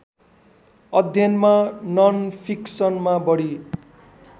अध्ययनमा ननफिक्सनमा बढी